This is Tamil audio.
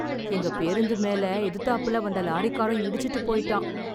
எங்க பேருந்து மேல, எதுத்தாப்புல வந்த லாரிக்காரன் இடிச்சிட்டு போய்ட்டான்..